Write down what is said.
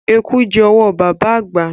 Eku jẹ́ owó baba àgbà.